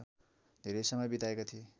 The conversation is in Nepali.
धेरै समय बिताएका थिए